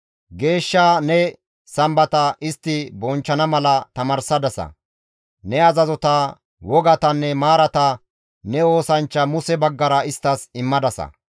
Geeshsha ne Sambata istti bonchchana mala tamaarsadasa; Ne azazota, wogatanne maarata ne oosanchcha Muse baggara isttas immadasa.